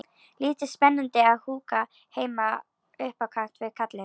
Lítið spennandi að húka heima upp á kant við kallinn.